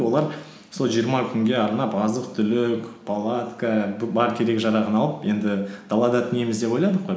олар сол жиырма күнге арнап азық түлік палатка бар керек жарағын алып енді далада түнейміз деп ойладық қой